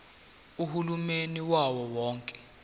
uhulumeni wawo wonke